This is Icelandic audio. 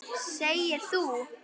Segir þú.